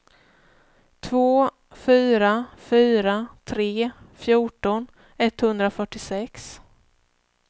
två fyra fyra tre fjorton etthundrafyrtiosex